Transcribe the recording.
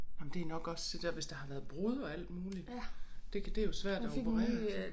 Ej men nok også det der hvis der har været brud og alt muligt. Det kan det jo svært at operere